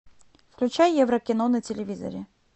включай еврокино на телевизоре